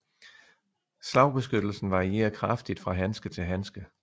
Slagbeskyttelsen varierer kraftigt fra handske til handske